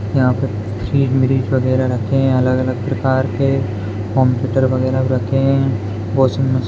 यहाँ पे फ्रिज व्रीज वगैरा रखे हैं अलग-अलग प्रकार के कंप्युटर वगैरा रखे हैं वॉशिंग मश --